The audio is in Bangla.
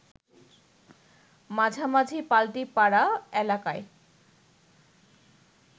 মাঝামাঝি পাল্টিপাড়া এলাকায়